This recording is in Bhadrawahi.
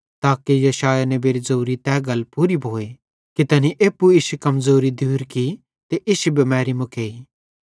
ताके यशायाह नेबेरी ज़ोरी तै गल पूरी भोए कि तैनी एप्पू इश्शी कमज़ोरी हटेइ ते इश्शी बिमैरी भी मुकेइ